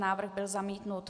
Návrh byl zamítnut.